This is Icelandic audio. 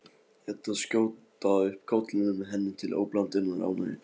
Eddu skjóta upp kollinum, henni til óblandinnar ánægju.